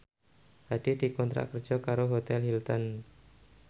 Hadi dikontrak kerja karo Hotel Hilton